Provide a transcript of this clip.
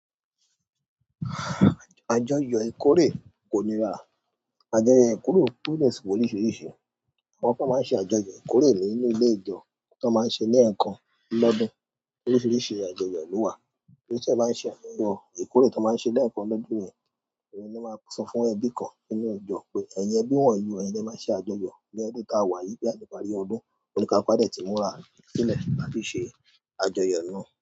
Àjọyọ̀ ìkórè kò nírá. Àjọyọ̀ ìkórè tó de si loríṣiríṣi. Àwọn kan máa ń ṣe àjọyọ̀ ìkoreé nínú ilé ìjọ́ tón máa ń ṣe lẹ̀ekan lọ́dún. Oríṣiríṣi àjọyọ̀ ló wà. Torí tíyan bá ń ṣe àjọyọ̀ ìkórè tón máa ń ṣe lẹ́ẹ̀kan lọ́dún yẹn, ohun ló máa sọ fún ẹbí kan nínú ìjọ pé, "Ẹ̀yin ẹbí wọ̀nyí, ẹyin lẹ máa ṣe àjọyọ̀ ní ọdún tá a wà yíi to ba diparí ọdún." Óníkáluku a de tí múra sílẹ̀ láti ṣe àjọyọ̀ náà.